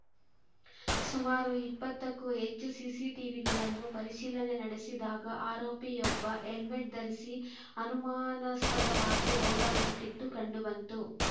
ಸುಮಾರು ಇಪ್ಪತ್ತಕ್ಕೂ ಹೆಚ್ಚು ಸಿಸಿಟಿವಿಗಳನ್ನು ಪರಿಶೀಲನೆ ನಡೆಸಿದಾಗ ಆರೋಪಿಯೊಬ್ಬ ಹೆಲ್ಮೆಟ್‌ ಧರಿಸಿ ಅನುಮಾನಸ್ಪಾದವಾಗಿ ಓಡಾಡಿದ್ದು ಕಂಡು ಬಂತು